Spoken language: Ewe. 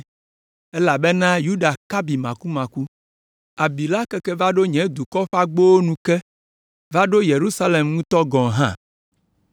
elabena Yuda ka abi makumaku. Abi la keke va ɖo nye dukɔ ƒe agbowo nu ke, va ɖo Yerusalem ŋutɔ gɔ̃ hã.